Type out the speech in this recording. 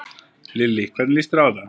Lillý: Hvernig líst þér á þetta?